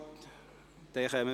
– Das ist nicht der Fall.